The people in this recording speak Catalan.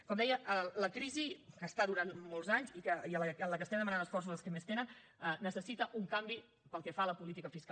com deia la crisi que està durant molts anys i en què estem demanant esforços als que més tenen necessita un canvi pel que fa a la política fiscal